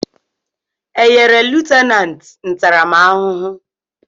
Enyere lutenanti ntaramahụhụ?